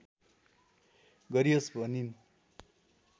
गरियोस भनिन्